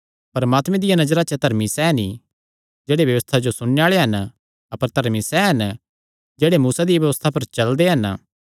परमात्मे दिया नजरा च धर्मी सैह़ नीं जेह्ड़े व्यबस्था जो सुणने आल़े हन अपर धर्मी सैह़ हन जेह्ड़े मूसा दिया व्यबस्था पर चलदे हन